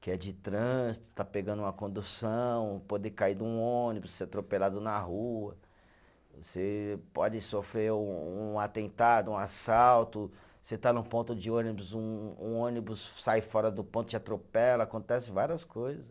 Que é de trânsito, está pegando uma condução, poder cair de um ônibus, ser atropelado na rua, você pode sofrer um um atentado, um assalto, você está num ponto de ônibus, um um ônibus sai fora do ponto e te atropela, acontecem várias coisas.